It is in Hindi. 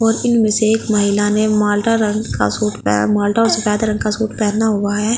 ओर इनमे से एक महिला ने माल्टा रंग का सूट प माल्टा और सफेद रंग का सूट पहना हुआ है ।